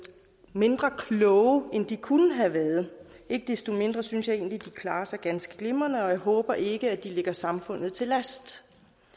mindre kloge end de kunne have været ikke desto mindre synes jeg egentlig at de klarer sig ganske glimrende og jeg håber ikke at de ligger samfundet til last